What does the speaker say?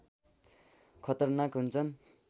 खतरनाक हुन्छन्